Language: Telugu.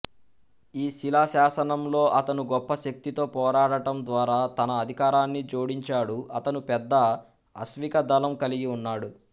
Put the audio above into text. ఈ శిలాశాసనంలో అతను గొప్ప శక్తితో పోరాడటం ద్వారా తన అధికారాన్ని జోడించాడు అతను పెద్ద అశ్వికదళం కలిగి ఉన్నాడు